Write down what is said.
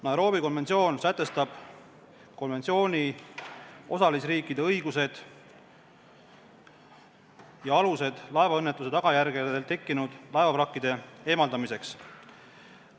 Nairobi konventsioon sätestab konventsiooni osalisriikide õigused ja alused laevaõnnetuse tagajärjel tekkinud laevavrakkide eemaldamiseks.